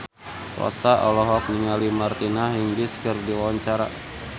Rossa olohok ningali Martina Hingis keur diwawancara